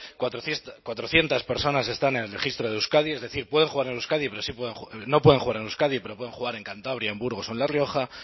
cuatrocientos personas están en el registro de euskadi es decir pueden jugar en euskadi pero sí pueden no pueden jugar en euskadi pero pueden jugar en cantabria en burgos o en la rioja